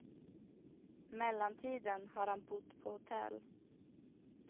Mellantiden har han bott på hotell.